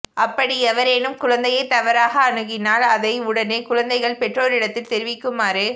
அப்படி எவரேனும் குழந்தையை தவறாக அணுகினால் அதை உடனே குழந்தைகள் பெற்றோரிடத்தில் தெரிவிக்குமாறு